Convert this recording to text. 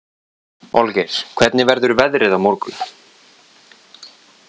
Olgeir, hvernig verður veðrið á morgun?